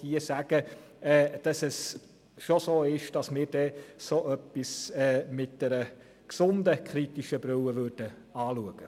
Ich kann aber hier sagen, dass so etwas kritisch betrachten würden.